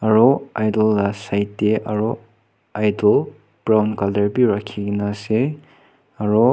aro idel side tey aro idel brown colour beh rakhe kena ase aro.